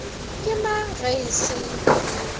ke mang ge e se